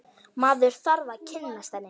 Maður þarf að kynnast henni!